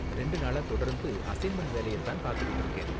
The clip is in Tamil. ரெண்டு நாளா தொடர்ந்து அசைன்மெண்ட் வேலைய தான் பாத்துட்டு இருக்கேன்.